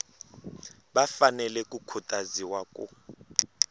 va fanele ku khutaziwa ku